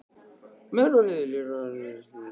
Með hvaða liði lék hann á nýliðinni leiktíð?